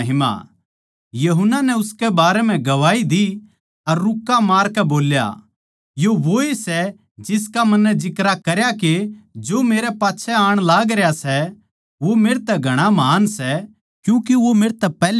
यूहन्ना नै उसकै बारै म्ह गवाही दी अर रूक्का मारकै बोल्या यो वोए सै जिसका मन्नै जिक्रा करया के जो मेरै पाच्छै आण लागरया सै वो मेरतै ज्यादा महान् सै क्यूँके वो मेरतै पैहल्या था